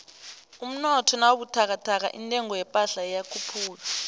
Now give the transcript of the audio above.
umnotho nawubuthakathaka intengo yephahla iyakhuphuka